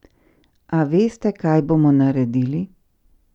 A veste kaj bomo naredili?